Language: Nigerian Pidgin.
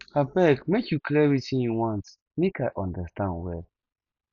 abeg make you clear wetin you want make i understand well